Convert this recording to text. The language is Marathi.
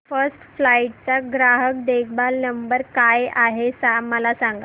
फर्स्ट फ्लाइट चा ग्राहक देखभाल नंबर काय आहे मला सांग